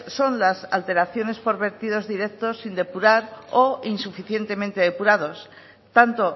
son las alteraciones por vertidos directos sin depurar o insuficientemente depurados tanto